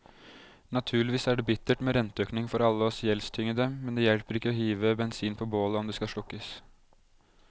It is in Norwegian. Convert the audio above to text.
Naturligvis er det bittert med renteøkning for alle oss gjeldstyngede, men det hjelper ikke å hive bensin på bålet om det skal slukkes.